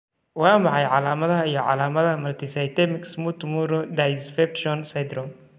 Waa maxay calamadaha iyo calaamadaha Multisystemic smooth muru dysfunction syndrome?